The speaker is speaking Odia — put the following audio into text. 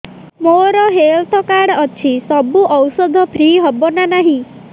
ମୋର ହେଲ୍ଥ କାର୍ଡ ଅଛି ସବୁ ଔଷଧ ଫ୍ରି ହବ ନା ନାହିଁ